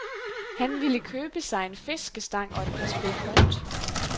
Han ville købe sig en fiskestang og et par spil kort.